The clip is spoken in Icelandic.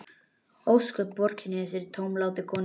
Ósköp vorkenni ég þessari tómlátu konu.